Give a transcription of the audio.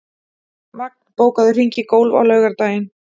Vagn, bókaðu hring í golf á laugardaginn.